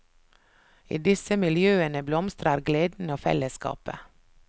I disse miljøene blomstrer gleden og fellesskapet.